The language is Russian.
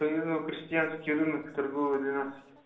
по моему крестьянский рынок торговый тренадцать